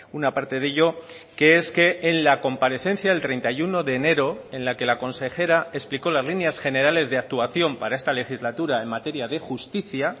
una parte de ello que es que en la comparecencia del treinta y uno de enero en la que la consejera explicó las líneas generales de actuación para esta legislatura en materia de justicia